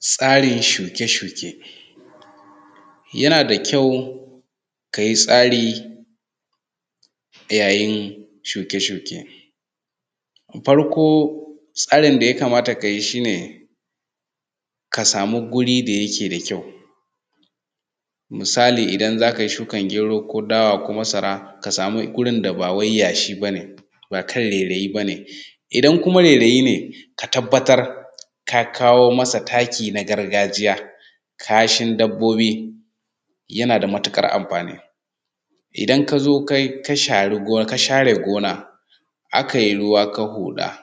Tsarin shuke shuke. Yana da kyau kayi tsari yayin shuke shuke. Farko tsarin da ya kamata ka yi shi ne ka samu guri da yake da kyau, misali idan za ka yi shukan gyero, ko dawa, ko masara, ka samu gurin da ba wai yashi ba ne, ba kan rairayi ba ne. Idan kuma kan rairayi ne ka tabatar ka kawo masa taki na gargajiya, kashin dabobi yana da matuƙar amfani. Idan ka zo ka share gona, akai ruwa kai huɗa,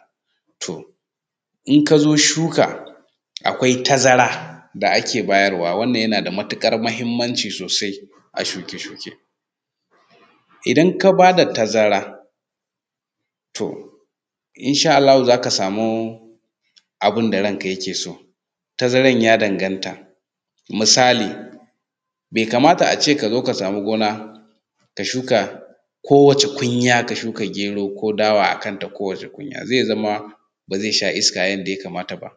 to in ka zo shuka akwai tazara da ake bayarwa wannan yana da matuƙar muhimmanci sosai a shuke shuke. Idan ka ba da tazara in sha Allahu za ka samu abin da ranka ke so. Tazaran ya danganta, misali bai kamata a ce ka zo ka samu gona ka shuka kowace kunya ka shuka gyero ko dawa a kanta ko wace kunya, zai zama ba zai sha iska yanda ya kamata ba.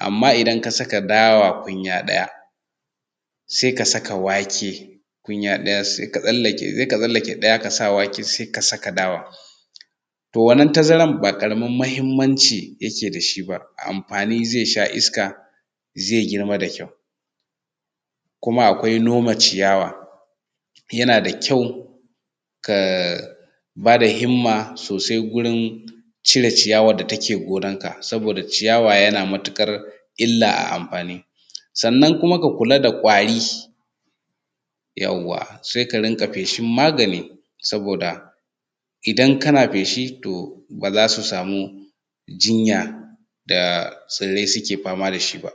amma idan ka saka dawa kunya ɗaya sai ka saka wake kunya ɗaya sai ka tsalake sai ka tsalake ɗaya ka sa wake sai ka saka dawa. To wannan tazara ba ƙaramin muhimmanci yake da shi ba a amfani zai sha iska, zai girma da kyau. Kuma akwai noma ciyawa yana da kyau ka ba da himma sosai gurin cire ciyawa da take gonanka. Saboda ciyawa yana matuƙar illa a amfani. Sannan kuma ka kula da ƙwari yauwa sai ka rinƙa feshin magani saboda idan kana feshi ba za su samu jinya da tsirai suke fama da shi ba.